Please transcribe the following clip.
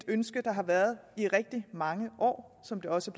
ønske der har været i rigtig mange år som det også